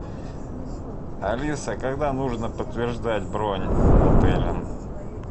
алиса когда нужно подтверждать бронь отеля